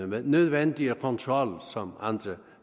den nødvendige kontrol som andre